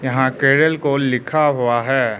यहां केरल को लिखा हुआ है।